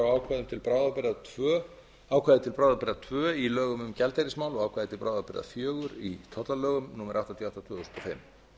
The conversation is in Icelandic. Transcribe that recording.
á ákvæði til bráðabirgða tvö í lögum um gjaldeyrismál og ákvæði til bráðabirgða fjögur í tollalögum númer áttatíu og átta tvö þúsund og fimm þar er